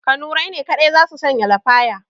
Kanurai ne kaɗai za su sanya lafaya